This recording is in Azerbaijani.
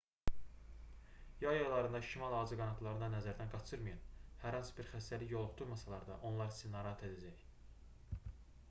yay aylarında şimal ağcaqanadlarını da nəzərdən qaçırmayın hər hansı bir xəstəlik yoluxdurmasalar da onlar sizi narahat edəcək